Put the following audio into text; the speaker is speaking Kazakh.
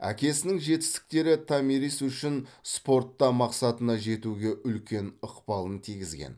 әкесінің жетістіктері томирис үшін спортта мақсатына жетуге үлкен ықпалын тигізген